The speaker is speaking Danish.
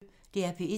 DR P1